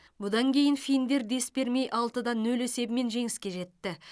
бұдан кейін финдер дес бермей алты да нөл есебімен жеңіске жетті